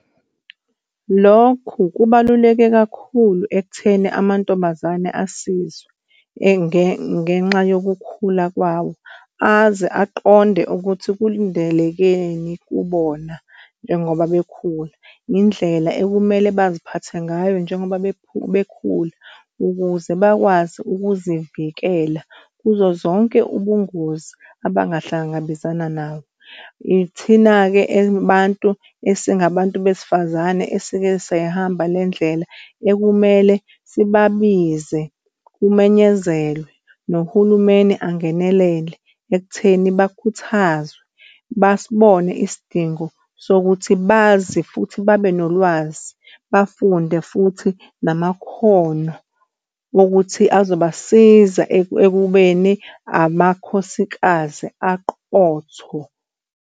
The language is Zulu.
Lokhu kubaluleke kakhulu ekutheni amantombazane asizwe ngenxa yokukhula kwawo aze aqonde ukuthi kulindelekeni kubona, njengoba bekhula indlela ekumele baziphathe ngayo, njengoba bekhula ukuze bakwazi ukuzivikela kuzo zonke ubungozi abangahlangabezana nawo. Ithina-ke abantu esingabantu besifazane esike sayihamba le ndlela ekumele sibabize kumenyezelwe nohulumeni angenelele ekutheni bakhuthazwe basibone isidingo sokuthi bazi futhi babe nolwazi bafunde futhi namakhono okuthi azobasiza ekubeni amakhosikazi aqotho.